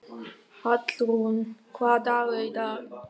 Hallrún, hvaða dagur er í dag?